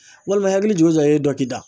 Walima i hakili jigi o jigi e dɔ k'i da